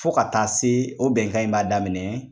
Fo ka taa se, o bɛnkan in b'a daminɛ